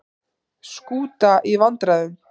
Skúta í vandræðum